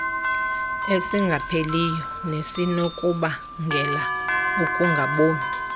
esingapheliyo nesinokubangela ukungaboni